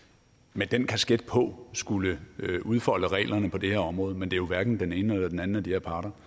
med den kasket på skulle udfolde reglerne på det her område men det er jo hverken den ene eller den anden af de her parter